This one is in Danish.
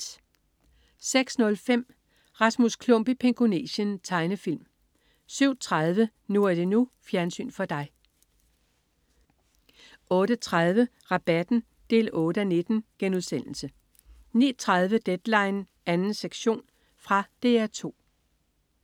06.05 Rasmus Klump i Pingonesien. Tegnefilm 07.30 NU er det NU. Fjernsyn for dig 08.30 Rabatten 8:19* 09.30 Deadline 2. sektion. Fra DR 2